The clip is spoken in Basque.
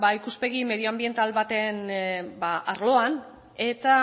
ikuspegi medio anbiental baten arloan eta